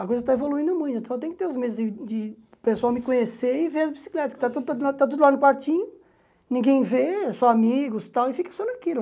A coisa está evoluindo muito, então eu tenho que ter os meios de o pessoal me conhecer e ver as bicicletas, que está tudo lá no quartinho, ninguém vê, só amigos e tal, e fica só naquilo.